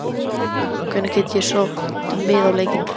Hvenær get ég sótt um miða á leikina?